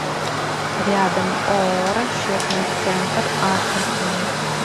рядом ооо расчетный центр астрахани